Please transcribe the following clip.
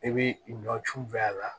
I b'i nɔ tu fɛ a la